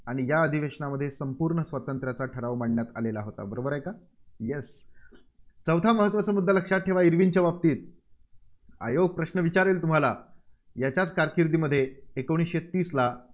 आणि या अधिवशेनामध्ये संपूर्ण स्वातंत्र्याचा ठराव मांडण्यात आलेला होता, बरोबर आहे का? Yes चौथा महत्त्वाचा मुद्दा लक्षात ठेवा, इर्विनच्या बाबातीत आयोग प्रश्न विचारेल तुम्हाला याच्याच कारकिर्दीमध्ये एकोणीसशे तीसला